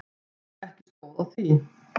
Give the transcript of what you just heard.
Jú, ekki stóð á því.